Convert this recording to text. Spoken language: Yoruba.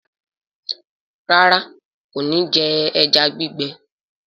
Ràrá kò ní jé eja gbigbe.